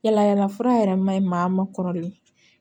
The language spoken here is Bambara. Yala yala fura yɛrɛ maɲi maa ma kɔrɔlen